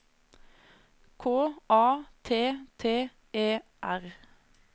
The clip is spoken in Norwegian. K A T T E R